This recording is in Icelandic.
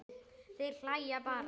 Þeir hlæja bara.